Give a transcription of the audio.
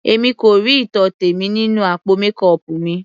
Èmi kò rí ìtọ́tẹ̀ mi nínú àpò mékọọpù mi.